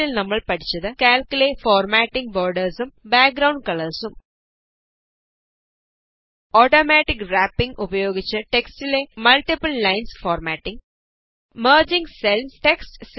ചുരുക്കത്തില് നമ്മള് പഠിച്ചത് കാല്ക്കിലെ formatting borders amp background colours automatic wrapping ഉപയോഗിച്ച് ടെക്ടിലെ multiple lines formatting merging cells